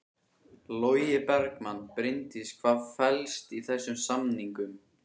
Logi Bergmann: Bryndís hvað felst í þessum samningum?